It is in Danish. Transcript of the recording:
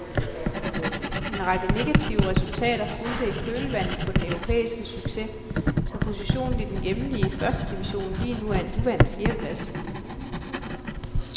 En række negative resultater fulgte i kølvandet på den europæiske succes, så positionen i den hjemlige første division lige nu er en uvant fjerdeplads.